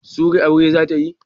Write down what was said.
Sury aure zata yi?